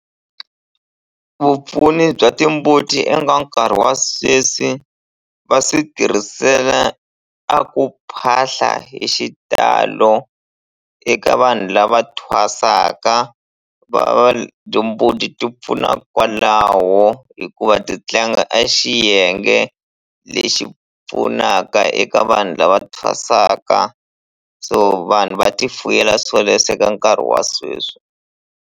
Vupfuni bya timbuti eka nkarhi wa sweswi va swi tirhisela a ku phahla hi xitalo eka vanhu lava thwasaka va timbuti ti pfuna kwalaho hikuva ti tlanga a xiyenge lexi pfunaka eka vanhu lava thwasaka so vanhu va ti fuyela swoleswo eka nkarhi wa sweswi.